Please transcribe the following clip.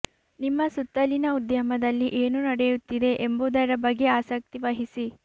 ನಿಮ್ಮ ಸುತ್ತಲಿನ ಉದ್ಯಮದಲ್ಲಿ ಏನು ನಡೆಯುತ್ತಿದೆ ಎಂಬುದರ ಬಗ್ಗೆ ಆಸಕ್ತಿ ವಹಿಸಿ